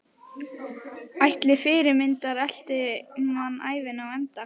Ætli fyrirmyndirnar elti mann ævina á enda?